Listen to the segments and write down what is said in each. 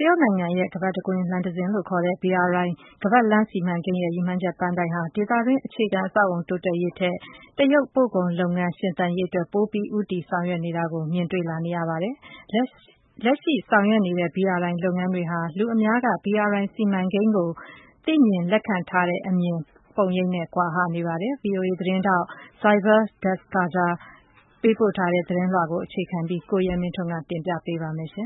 တရုတ်နိုင်ငံရဲ့ ရပ်ဝန်းတစ်ခု လမ်းတစ်ခုလို့ ခေါ်တဲ့ BRI ခါးပတ်လမ်းစီမံကိန်းရဲ့ ရည်မှန်းချက်ပန်းတိုင်ဟာ ဒေသတွင်း အခြေခံ အဆောက်အအုံ တိုးတက်ရေးထက် တရုတ် ပို့ကုန်လုပ်ငန်း ရှင်သန်ရေးအတွက် ပိုပြီး ဦးတည်ဆောင်ရွက်နေတာကို မြင်တွေ့လာ နေရပါတယ်။ လက်ရှိ ဆောင်ရွက်နေတဲ့ BRI လုပ်ငန်းတွေဟာ လူအများက BRI စီမံကိန်းကို သိမြင်လက်ခံထားတဲ့အမြင်ပုံရိပ်နဲ့ ကွာဟ နေပါတယ်။ VOA သတင်းထောက် Saibal Dasgupta ပေးပို့ထားတဲ့သတင်းကို အခြေခံပြီး ကိုရဲမင်းထွန်းက တင်ပြပေးပါမယ်။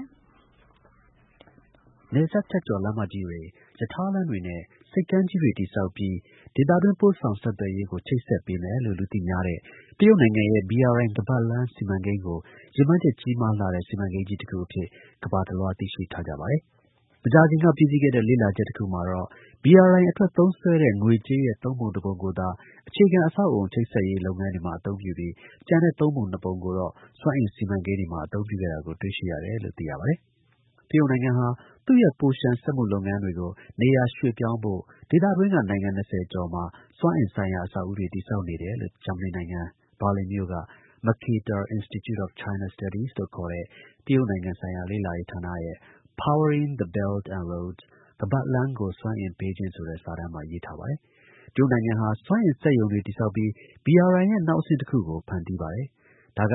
နယ်စပ်ဖြတ်ကျော် လမ်းမကြီးတွေ၊ ရထားလမ်းတွေနဲ့ ဆိပ်ကမ်းကြီးတွေ တည်ဆောက်ပြီး ဒေသတွင်း ပို့ဆောင်ဆက်သွယ်ရေးကို ချိတ်ဆက် ပေးမယ်လို့ လူသိများတဲ့ တရုတ်နိုင်ငံရဲ့ BRI ခါးပတ်လမ်းစီမံကိန်းကို ရည်မှန်းချက် ကြီးမားလှတဲ့ စီမံကိန်းကြီးတခုအဖြစ် ကမ္ဘာတစ်လွှား သိရှိထားကြပါတယ်။ မကြာခင်က ပြီးစီးခဲ့တဲ့ လေ့လာချက်တစ်ခုမှာတော့ BRI အတွက် သုံးစွဲတဲ့ ငွေကြေးရဲ့ ၃ ပုံ ၁ ပုံကိုသာ အခြေခံ အဆောက်အအုံ ချိတ်ဆက်ရေးလုပ်ငန်းတွေမှာ အသုံးပြုပြီး ကျန်တဲ့ ၃ ပုံ ၂ ပုံကိုတော့ စွမ်းအင် စီမံကိန်းတွေမှာ အသုံးပြုခဲ့တာကို တွေ့ရှိခဲပါတယ်။ တရုတ်နိုင်ငံဟာ သူ့ရဲ့ ပိုလျှံစက်မှုလုပ်ငန်းတွေကို နေရာရွှေ့ပြောင်းဖို့ ဒေသတွင်းက နိုင်ငံ၂၀ကျော်မှာစွမ်းအင်ဆိုင်ရာ အဆောက်အဦးတွေ တည်ဆောက်ခဲ့တယ်လို့ ဂျာမနီနိုင်ငံ ဘာလင်မြို့က Mercator Institute of China Studies လို့ခေါ်တဲ့ တရုတ်ဆိုင်ရာ လေ့လာရေးဌာနရဲ့ Powering the Belt and Roads ခါးပတ်လမ်းကို စွမ်းအင်ပေးခြင်းဆိုတဲ့ စာတမ်းမှာ ရေးထားပါတယ်။ တရုတ်နိုင်ငံဟာ စွမ်းအင် စက်ရုံတွေ ဆောက်ပြီး BRI ရဲ့ နောက်အဆင့်တစ်ခုကို ဖန်တီးပါတယ်။ ဒါက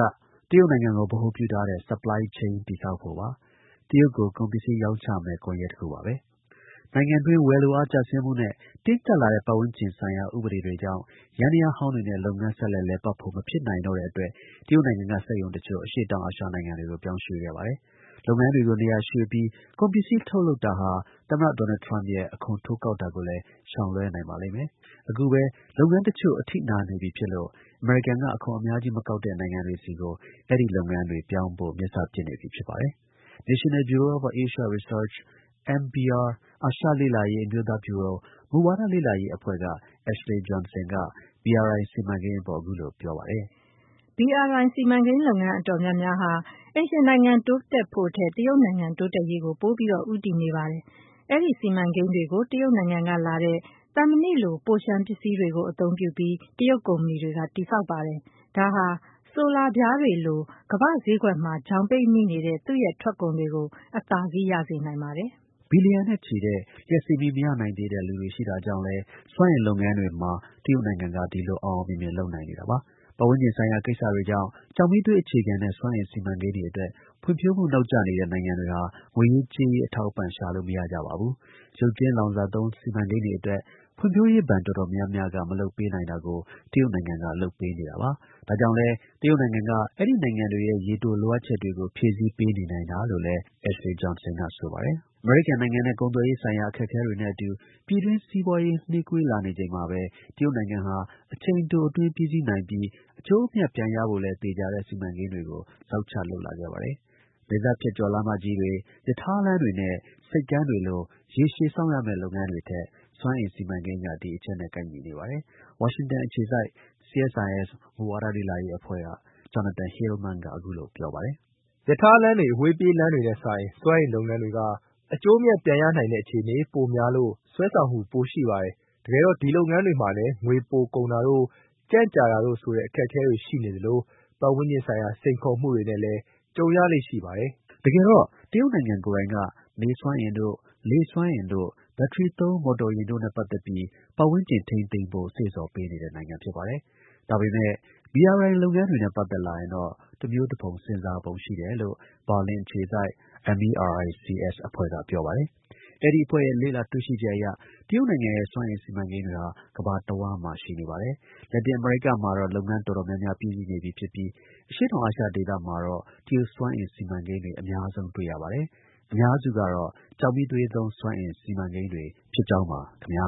တရုတ်နိုင်ငံကို ဗဟိုပြုထားတဲ့ supply chain တည်ဆောက်ဖို့ပါ။ တရုတ်ကို ကုန်ပစ္စည်း ရောင်းချမယ့် ကွန်ရက်တစ်ခုပါ။ နိုင်ငံတွင်း ဝယ်လိုအား ကျဆင်းမှုနဲ့ တင်းကျပ်လာတဲ့ ပတ်ဝန်းကျင်ဆိုင်ရာ ဥပဒေတွေကြောင့် စက်ယန္တရားဟောင်းတွေနဲ့ လုပ်ငန်း ဆက်လက် လည်ပတ်ဖို့ မဖြစ်နိုင်တော့တဲ့အတွက် တရုတ်နိုင်ငံက စက်ရုံတစ်ချို့ အရှေ့တောင် အာရှနိုင်ငံတွေကို ပြောင်းရွှေ့ခဲ့ပါတယ်။ လုပ်ငန်းတွေ ကို နေရာရွှေ့ပြီး ကုန်ပစ္စည်း ထုတ်လုပ်တာဟာ သမ္မတ ဒေါ်နယ် ထရမ့်ရဲ့ အခွန်တိုးကောက်တာကိုလည်း ရှောင်လွဲနိုင်ပါလိမ့်မယ်။ အခုပဲလုပ်ငန်း တစ်ချို့ အထိနာနေပြီဖြစ်လို့ အမေရိကန်က အခွန်အများကြီး မကောက်တဲ့ နိုင်ငံတွေဆီကို အဲဒီ လုပ်ငန်းတွေ ပြောင်းဖို့ မျက်စပစ်ပြီ ဖြစ်ပါတယ်။ National Bureau of Asian Research (NBR) အာရှ လေ့လာရေး အမျိုးသား ဗျူရို မူဝါဒလေ့လာရေး အဖွဲ့က Ashley Johnson က BRI စီမံကိန်းအပေါ် အခုလို ပြောပါတယ်။ "BRI စီမံကိန်း လုပ်ငန်း တော်တော်များများဟာ အိမ်ရှင်နိုင်ငံ တိုးတက်ဖို့ထက် တရုတ်နိုင်ငံ တိုးတက်ရေးကို ပိုပြီး ဦးတည် နေပါတယ်။ အဲဒီ စီမံကိန်းတွေကို တရုတ်နိုင်ငံကလာတဲ့ သံမဏိလို့ ပိုလျှံ ပစ္စည်းတွေကို အသုံးပြုပြီး တရုတ် ကုမ္မဏီတွေက တည်ဆောက်ပါတယ်။ ဒါဟာ ဆိုလာပြားတွေလို ကမ္ဘာ့ဈေးကွက်မှာ ချောင်ပိတ်မိနေတဲ့ သူ့ ထွက်ကုန်တွေကို အသာစီး ရစေနိုင်ပါတယ်။" ဘီလီယံနဲ့ချီတဲ့ လျှပ်စစ်မီး မရနိုင်သေးတဲ့ လူတွေရှိနေတာကြောင့်လည်း စွမ်းအင်လုပ်ငန်းတွေမှာ တရုတ်နိုင်ငံက ဒီလို အောင်အောင်မြင်မြင် လုပ်နိုင်တာလပါ။ ပတ်ဝန်းကျင်ဆိုင်ရာ ကိစ္စတွေကြောင့် ကျောက်မီးသွေး အခြေခံတဲ့ စွမ်းအင်စီမံကိန်းတွေအတွက် ဖွံ့ဖြိုးမှု နောက်ကျနေတဲ့ နိုင်ငံတွေဟာ ငွေရေးကြေးရေး အထောက်အပံ့ ရှာလို့ မရကြပါဘူး။ ရုပ်ကြွင်း လောင်စာသုံး စီမံကိန်းတွေအတွက် ဖွံဖြိုးရေး ဘဏ် တော်တော်များများက မလုပ်ပေးနိုင်တာကို တရုတ်နိုင်ငံက လုပ်ပေးနေပါတယ်။။ ဒါကြောင့်လည်း တရုတ်နိုင်ငံက အဲဒီနိုင်ငံတွေရဲ့ ရေတို လိုအပ်ချက်တွေကို ဖြည့်ဆည်းပေးနေနိုင်တာလို့လည်း မစ် Johnson က ဆိုပါတယ်။ အမေရိကန်နိုင်ငံနဲ့ ကုန်သွယ်ရေးဆိုင်ရာ အခက်အခဲတွေနဲ့အတူ ပြည်တွင်း စီးပွားရေး နှေးကွေးလာနေချိန်မှာပဲ တရုတ်နိုင်ငံဟာ အချိန်တို အတွင်းပြီးစီးနိုင်ပြီး အကျိုးအမြတ် ပြန်ရဖို့လည်း သေချာတဲ့ စီမံကိန်းတွေကို ဇောက်ချလုပ်လာခဲ့ပါတယ်။ နယ်စပ်ဖြတ်ကျော် လမ်းမကြီးတွေ ရထားလမ်းတွေနဲ့ ဆိပ်ကမ်းတွေလို ရေရှည် စောင့်ရမယ့်လုပ်ငန်းတွေထက် စွမ်းအင် စီမံကိန်းတွေက ဒီအချက်နဲ့ ကိုက်ညီနေပါတယ်။ CSIS က Jonathan Hillman က အခုလို ပြောပါတယ်။ "ရထားလမ်းတွေ အဝေးပြေးလမ်းတွေနဲ့စာရင် စွမ်းအင်လုပ်ငန်းတွေက အကျိုးအမြတ် ပြန်ရနိုင်တဲ့ အခြေအနေပိုရများလို့ စွဲဆောင်မှု ပိုရှိတယ်။ တကယ်တော့ ဒီလုပ်ငန်းတွေမှာလည်း ငွေ ပိုကုန်တာတို့ ကြန့်ကြာတာတို့ဆိုတဲ့ အခက်အခဲတွေ ရှိနေသလို ပတ်ဝန်းကျင်ဆိုင်ရာ စိန်ခေါ်မှုတွေနဲ့လည်း ကြုံရလေ့ရှိပါတယ်။" တကယ်တော့ တရုတ်နိုင်ငံ ကိုယ်တိုင်က နေစွမ်းအင်တို့ လေစွမ်းအင်တို့ ဘက်ထရီသုံး မော်တော်ယာဉ်တို့နဲ့ ပတ်သက်ပြီး ပတ်ဝန်းကျင် ထိန်းသိမ်းဖို့ စေ့ဆော်ပေး နေတဲ့နိုင်ငံ ဖြစ်ပါတယ်။ ဒါပေမဲ့ BRI လုပ်ငန်းတွေနဲ့ ပတ်သက်လာရင်တော့ တစ်မျိုးတစ်ဖုံ စဉ်းစားပုံ ရှိတယ်လို့ ဘာလင် အခြေစိုက် MERICS အဖွဲ့က ပြောပါတယ်။ အဲဒီအဖွဲ့ရဲ့ လေ့လာတွေ့ရှိချက်အရ တရုတ်နိုင်ငံရဲ့ စွမ်းအင် စီမံကိန်းတွေဟာ ကမ္ဘာတစ်ဝှမ်းမှာ ရှိနေပါတယ်။ လက်တင် အမေရိကမှာတော့ လုပ်ငန်း တော်တော်များများ ပြီးစီး နေပြီ ဖြစ်ပြီး အရှေ့တောင်အာရှဒေသမှာတော့ တရုတ်စွမ်းအင် စီမံကိန်းတွေ အများဆုံး တွေ့ရပါတယ်။ အများစုကတော့ ကျောက်မီးသွေးသုံး စွမ်းအင် စီမံကိန်းတွေဖြစ်ကြောင်းပါ ခင်ဗျာ